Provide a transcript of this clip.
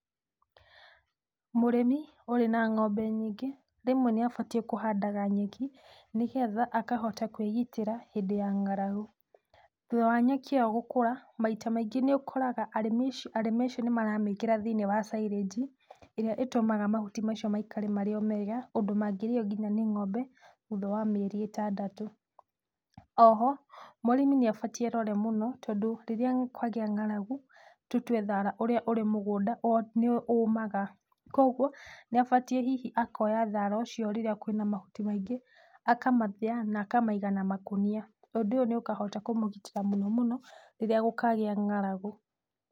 Mũrĩmi ũrĩ na ng'ombe nyingĩ rĩmwe nĩ abatiĩ kũhandaga nyeki nĩgetha akahota kwĩgitĩra hĩndĩ ya ng'aragu. Thutha wa nyeki ĩyo gũkũra, maita maingĩ nĩ ũkoraga arĩmi acio nĩ maramĩkĩra thĩiniĩ wa silage ĩrĩa ĩtũmaga mahuti macio maikare marĩ o mega ũndũ mangĩrĩo nginya nĩ ng'ombe thutha wa mĩeri ĩtandatũ. Oho mũrĩmi nĩ abatiĩ erore mũno tondũ rĩrĩa kwagĩa ng'aragu, tũtue thara ũrĩa ũrĩ mũgũnda nĩ ũmaga koguo nĩ abatiĩ hihi akoya thara ũcio rĩrĩa kwĩna mahuti maingĩ, akamathĩa na akamaiga na makunia na ũndũ ũyũ nĩ ũkahota kũmũgitĩra mũno mũno rĩrĩa gũkagĩa ng'aragu.